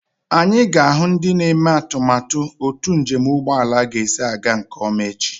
Anyị ga-ahụ ndị na-eme atụmatụ otu njem ụgbọelu ga-esi aga nke ọma echi.